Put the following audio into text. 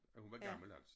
At hun var gammel altså